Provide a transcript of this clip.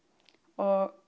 og